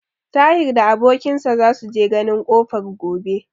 Tahir da abokin sa za su je ganin kofar gobe.